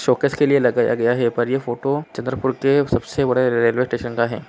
Showcase के लिए लगाया गया है पर ये फोटो चंद्रपुरके सबसे बड़े रेलवे स्टेशन का है.